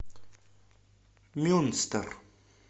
мюнстер